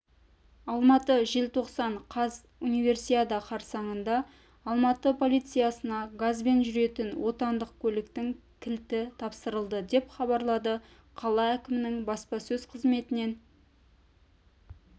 алматы желтоқсан қаз универсиада қарсаңында алматы полициясына газбен жүретін отандық көліктің кілті тапсырылды деп хабарлады қала әкімінің баспасөз қызметінен